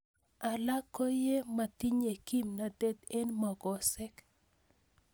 Alak ko ko ye metinye kimnatet eng'mongosek